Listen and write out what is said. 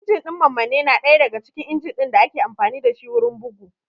Injin ɗin mammanne na ɗaya daga cikin injin ɗin da ake amfani dashi wurin bugu